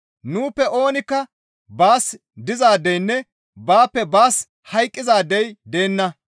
Nuuppe oonikka baas dizaadeynne baappe baas hayqqizaadey deenna.